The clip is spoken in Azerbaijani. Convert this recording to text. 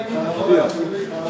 Dayalı olmur.